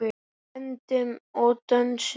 Öndum og dönsum.